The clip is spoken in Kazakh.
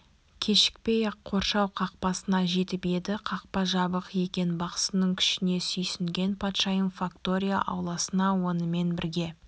кешікпей-ақ қоршау қақпасына жетіп еді қақпа жабық екен бақсының күшіне сүйсінген патшайым фактория ауласына онымен бірге